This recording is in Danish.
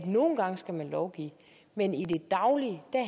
nogle gange skal lovgive men i det daglige